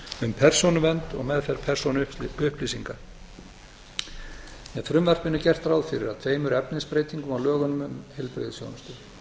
um persónuvernd og meðferð persónuupplýsinga með frumvarpinu er gert ráð fyrir að tveimur efnisbreytingum á lögunum um heilbrigðisþjónustu